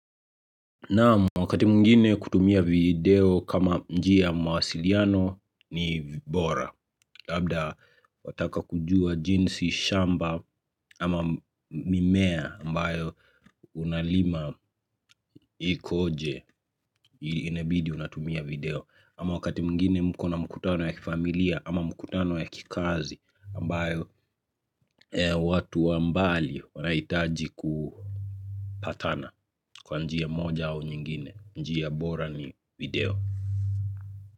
Naam wakati mwingine kutumia video kama njia ya mawasiliano ni bora. Labda wataka kujua jinsi shamba ama mimea ambayo unalima ikoje, inabidi unatumia video. Ama wakati mwingine mko na mkutano ya familia ama mkutano ya kikazi ambayo watu wa mbali wanahitaji kupatana kwa njia moja au nyingine, njia bora ni video.